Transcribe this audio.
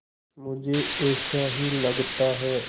मुझे ऐसा ही लगता है